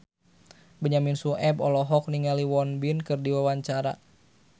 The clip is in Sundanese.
Benyamin Sueb olohok ningali Won Bin keur diwawancara